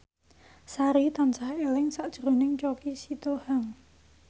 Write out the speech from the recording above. Sari tansah eling sakjroning Choky Sitohang